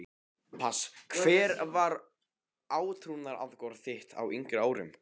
pass Hver var átrúnaðargoð þitt á yngri árum?